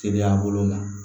Teriya bolo ma